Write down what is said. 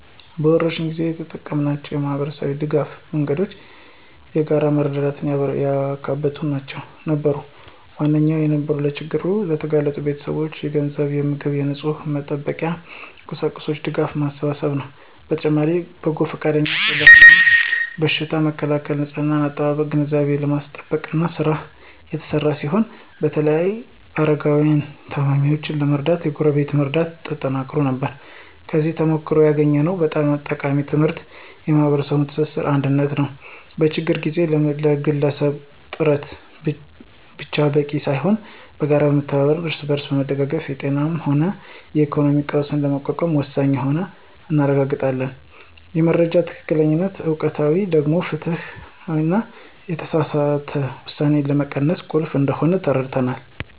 በወረርሽኝ ጊዜ የተጠቀምናቸው የማኅበረሰብ ድጋፍ መንገዶች የጋራ መረዳዳትን ያካተቱ ነበሩ። ዋነኛው የነበረው ለችግር ለተጋለጡ ቤተሰቦች የገንዘብ፣ የምግብና የንጽሕና መጠበቂያ ቁሳቁስ ድጋፍ ማሰባሰብ ነው። በተጨማሪም በጎ ፈቃደኞች ስለ በሽታው መከላከልና ንጽሕና አጠባበቅ ግንዛቤ የማስጨበጥ ሥራ የተሰራ ሲሆን በተለይም አረጋውያንንና ታማሚዎችን ለመርዳት የጎረቤት መረዳዳት ተጠናክሮ ነበር። ከዚህ ተሞክሮ ያገኘነው በጣም ጠቃሚ ትምህርት የማኅበረሰብ ትስስርና አንድነት ነው። በችግር ጊዜ የግለሰብ ጥረት ብቻ በቂ ሳይሆን በጋራ መተባበርና እርስ በርስ መደጋገፍ የጤናም ሆነ የኢኮኖሚ ቀውስን ለመቋቋም ወሳኝ መሆኑን አረጋግጠናል። የመረጃ ትክክለኛነትና ወቅታዊነት ደግሞ ፍርሃትንና የተሳሳተ ውሳኔን ለመቀነስ ቁልፍ እንደሆነ ተረድተናል።